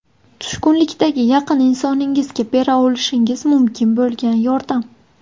Tushkunlikdagi yaqin insoningizga bera olishingiz mumkin bo‘lgan yordam.